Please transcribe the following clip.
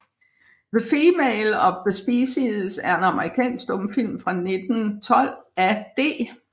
The Female of the Species er en amerikansk stumfilm fra 1912 af D